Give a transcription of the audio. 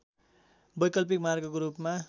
वैकल्पिक मार्गको रूपमा